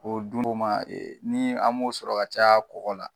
Ko dun o ma ni a m'o sɔrɔ ka caya bɔgɔ la